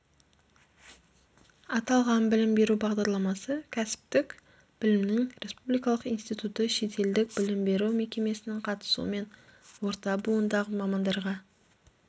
аталған білім беру бағдарламасы кәсіптік білімнің республикалық институты шетелдік білім беру мекемесінің қатысуымен орта буындағы мамандарға